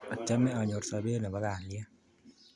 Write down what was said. Achame anyor sopet ne po kalyet